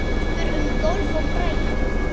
Gengur um gólf og brælir.